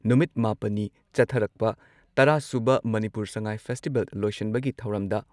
ꯅꯨꯃꯤꯠ ꯃꯥꯄꯟꯅꯤ ꯆꯠꯊꯔꯛꯄ ꯇꯔꯥ ꯁꯨꯕ ꯃꯅꯤꯄꯨꯔ ꯁꯉꯥꯏ ꯐꯦꯁꯇꯤꯚꯦꯜ ꯂꯣꯏꯁꯤꯟꯕꯒꯤ ꯊꯧꯔꯝꯗ